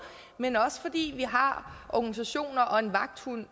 men også fordi vi har organisationer og en vagthund